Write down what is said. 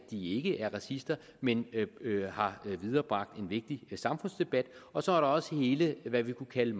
de ikke er racister men har viderebragt en vigtig samfundsdebat og så er der også hele hvad vi kunne kalde